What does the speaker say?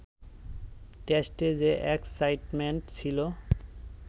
টেস্টে যে এক্সসাইটমেন্ট ছিল